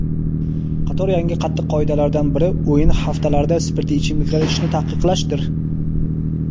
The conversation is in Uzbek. qator yangi qattiq qoidalardan biri o‘yin haftalarida spirtli ichimliklar ichishni taqiqlashdir.